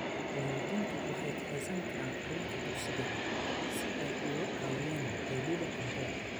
Waalidiintu waxay kaxaysan karaan carruurta dugsiga si ay uga caawiyaan helidda cunto.